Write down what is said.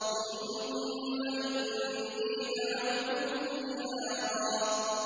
ثُمَّ إِنِّي دَعَوْتُهُمْ جِهَارًا